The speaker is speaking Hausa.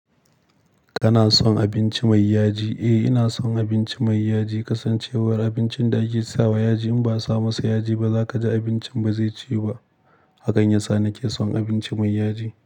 Kana son abinci mai yaji? Eh ina son abinci mai yaji. Kasancewar abincin da ake sawa yaji in ba a sawa masa yaji ba, zaka ji abincin ba zai ciwu ba. Hakan ya sa nake son abinci mai yaji.